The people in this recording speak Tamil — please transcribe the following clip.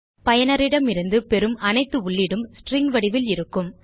பயனரிடமிருந்து பெறும் அனைத்து உள்ளீடும் ஸ்ட்ரிங் வடிவில் இருக்கும்